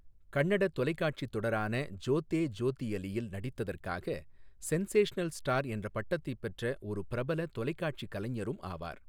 கன்னட தொலைக்காட்சி தொடரான ஜோதே ஜோதியலியில் நடித்ததற்காக 'சென்சேஷனல் ஸ்டார்' என்ற பட்டத்தை பெற்ற ஒரு பிரபல தொலைக்காட்சிக் கலைஞரும் ஆவார்.